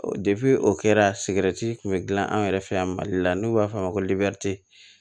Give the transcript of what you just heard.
depi o kɛra sigɛriti kun bɛ dilan an yɛrɛ fɛ yan mali la n'u b'a f'a ma ko